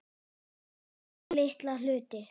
Alls konar litla hluti.